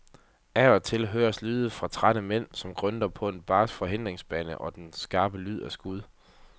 Af og til høres lyde fra trætte mænd, der grynter på en barsk forhindringsbane og den skarpe lyd af skud.